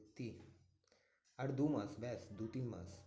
আর দুমাস ব্যাস দুতিন মাস।